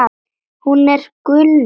Hún er gulnuð.